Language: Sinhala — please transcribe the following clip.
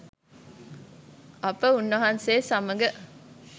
අප උන්වහන්සේ සමග